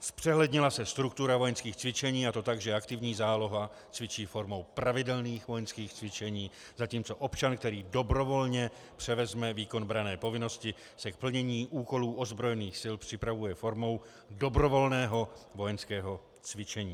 Zpřehlednila se struktura vojenských cvičení, a to tak, že aktivní záloha cvičí formou pravidelných vojenských cvičení, zatímco občan, který dobrovolně převezme výkon branné povinnosti, se k plnění úkolů ozbrojených sil připravuje formou dobrovolného vojenského cvičení.